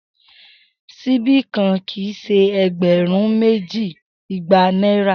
Sibi kan kii ṣe ẹgbẹrun meji igba naira.